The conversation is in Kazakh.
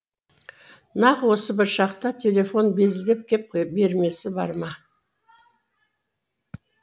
нақ осы бір шақта телефон безілдеп кеп бермесі бар ма